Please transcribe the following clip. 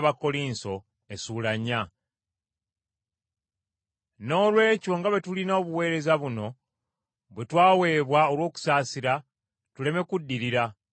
Noolwekyo nga bwe tulina obuweereza buno bwe twaweebwa olw’okusaasirwa, tuleme kuddirira.